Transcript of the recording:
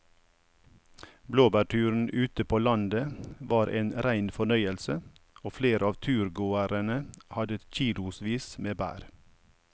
Blåbærturen ute på landet var en rein fornøyelse og flere av turgåerene hadde kilosvis med bær.